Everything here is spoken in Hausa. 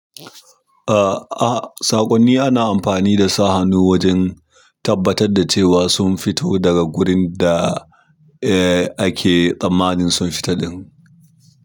Eh, ah saƙonni ana amfani da su hannu wajen tabbatar da cewa sun fito daga gurin da eh ake tsammanin sun fita ɗin.